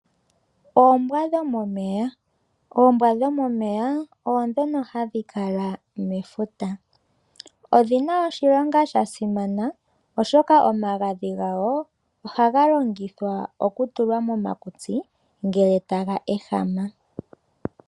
Oombwa dhomomeya, oombwa dhomomeya oodhono hadhi kala mefuta,, odhina oshilongo sha simana oshoka omagadhi gawo, ohaga longithwa oku tulwa komakutsi ngele taga ehama.